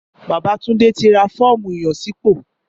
Bàbá Tunde ti ra fọ́ọ̀mù ìyànsípò